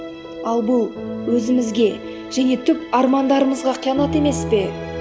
ал бұл өзімізге және түп армандарымызға қиянат емес пе